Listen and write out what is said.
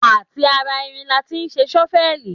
Àtí àrá ìrín làtí sẹ sọfẹli.